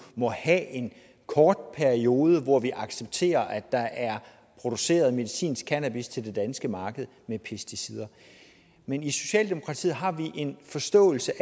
må have en kort periode hvor vi accepterer at der er produceret medicinsk cannabis til det danske marked med pesticider men i socialdemokratiet har vi en forståelse